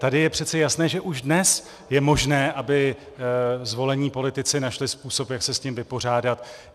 Tady je přece jasné, že už dnes je možné, aby zvolení politici našli způsob, jak se s tím vypořádat.